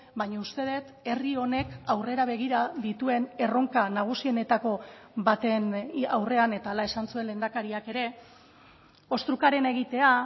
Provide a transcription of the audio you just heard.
baina uste dut herri honek aurrera begira dituen erronka nagusienetako baten aurrean eta hala esan zuen lehendakariak ere ostrukarena egitea